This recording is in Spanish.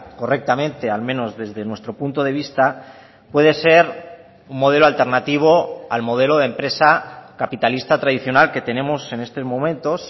correctamente al menos desde nuestro punto de vista puede ser un modelo alternativo al modelo de empresa capitalista tradicional que tenemos en estos momentos